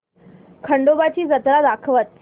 खंडोबा ची जत्रा दाखवच